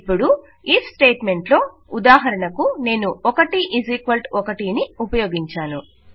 ఇప్పుడు IF statement లో ఉదాహరణకు నేను 11 ను ఉపయోగించాను